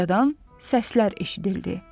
Ucadan səslər eşidildi.